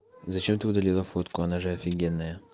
зачем ты удалила фотку она же офигенная